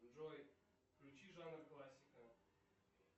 джой включи жанр классика